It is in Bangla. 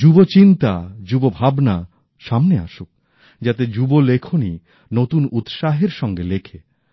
যুব চিন্তা যুব ভাবনা সামনে আসুক যাতে যুব লেখনী নতুন উৎসাহের সঙ্গে লেখে